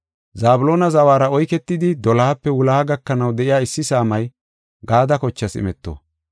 Zabloona zawara oyketidi, dolohape wuloha gakanaw de7iya issi saamay Gaade kochaas imeto.